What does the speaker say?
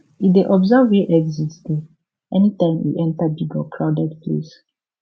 e dey observe where exit dey anytime e enter big or crowded place